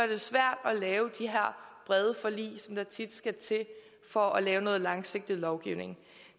det svært at lave de brede forlig som der tit skal til for at lave noget langsigtet lovgivning